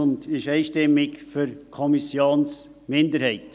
Sie ist einstimmig für die Kommissionsminderheit.